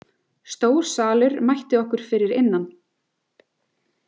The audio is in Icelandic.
Stór salur mætti okkur fyrir innan.